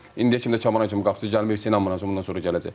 İndiyə kimi də Kamran kimi qapıçı gəlməyəcək, inanmıram bundan sonra gələcək.